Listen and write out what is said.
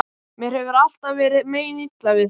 Mér hefur alltaf verið meinilla við þá.